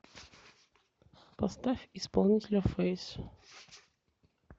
поставь исполнителя фейс